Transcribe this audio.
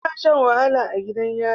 Ana Shan wahala a gidan yari